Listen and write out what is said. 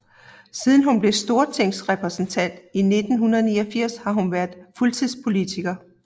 Siden hun blev stortingsrepræsentant i 1989 har hun været fuldtidspolitiker